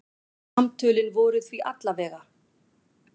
Samtölin voru því alla vega.